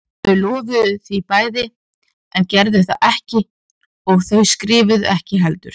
Þau lofuðu því bæði en gerðu það ekki og þau skrifuðu ekki heldur.